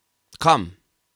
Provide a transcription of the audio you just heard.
Kam?